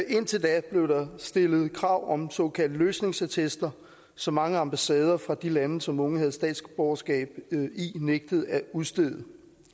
indtil da blev der stillet krav om såkaldte løsningsattester som mange ambassader fra de lande som unge havde statsborgerskab i nægtede at udstede